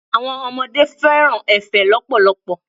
Àwọn ọmọdé fẹ́ràn efe lọpọlọpọ.